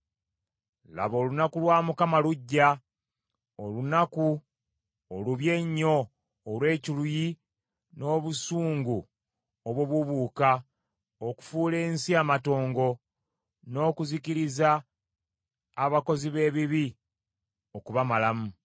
Laba olunaku lwa Mukama lujja, olunaku olubi ennyo olw’ekiruyi n’obusungu obubuubuuka okufuula ensi amatongo, n’okuzikiriza abakozi b’ebibi okubamalamu.